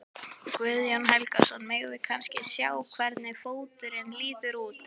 Guðjón Helgason: Megum við kannski sjá hvernig fóturinn lítur út?